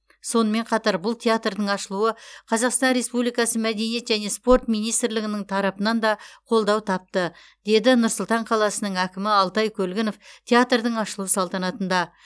сонымен қатар бұл театрдың ашылуы қазақстан республикасы мәдениет және спорт министрлігінің тарапынан да қолдау тапты деді нұр сұлтан қаласының әкімі алтай көлгінов театрдың ашылу салтанатында